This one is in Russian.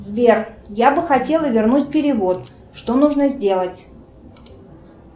сбер я бы хотела вернуть перевод что нужно сделать